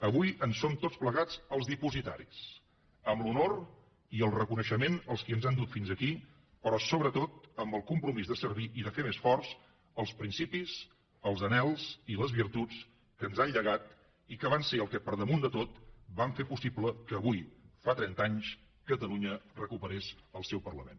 avui en som tots plegats els dipositaris amb l’honor i el reconeixement als qui ens han dut fins aquí però sobretot amb el compromís de servir i de fer més forts els principis els anhels i les virtuts que ens han llegat i que van ser el que per damunt de tot va fer possible que avui fa trenta anys catalunya recuperés el seu parlament